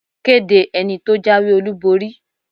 Kéde ẹni tó jáwé-olúborí!